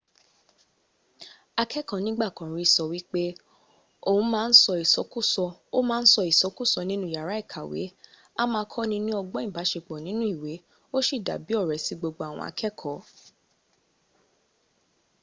akẹkọ nigba kan ri sọ wipe ‘oun a ma sọ isọkusọ ninu yara ikawe a ma kọni ni ọgbọn ibasepọ ninu iwe o si dabi ọrẹ si gbogbo awon akẹkọ.’